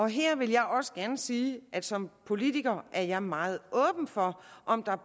her vil jeg også gerne sige at som politiker er jeg meget åben for om der